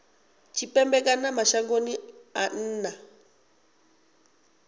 tshipembe kana mashangoni a nnḓa